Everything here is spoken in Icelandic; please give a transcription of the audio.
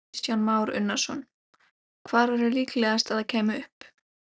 Kristján Már Unnarsson: Hvar væri líklegast að það kæmi upp?